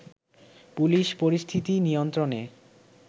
police পরিস্থিতি নিয়ন্ত্রণে